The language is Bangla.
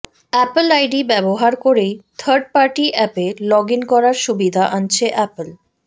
অ্যাপল আইডি ব্যবহার করেই থার্ড পার্টি অ্যাপে লগ ইন করার সুবিধা আনছে অ্যাপেল